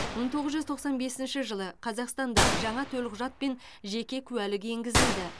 мың тоғыз жүз тоқсан бесінші жылы қазақстанда жаңа төлқұжат пен жеке куәлік енгізілді